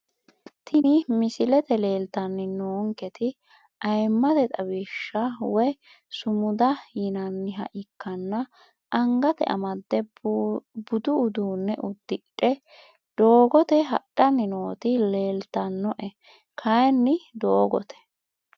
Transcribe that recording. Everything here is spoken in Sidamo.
Tini misilete leeltani noonketi ayimate xawishi woyi sumuda yinaniha ikanna angate amade budu uduune udidhe doogote hadhani nooti leeltanoe kayini doogote.